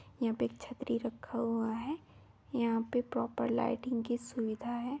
यहाँ पे छतरी रखा हुआ है यहाँ पर प्रॉपर लाइटिग की सुविधा है।